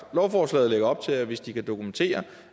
lovforslaget lægger op til at hvis de kan dokumentere